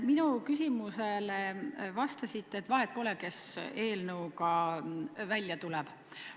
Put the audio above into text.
Minu küsimusele vastasite, et vahet pole, kes eelnõuga välja tuleb.